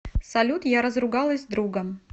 салют я разругалась с другом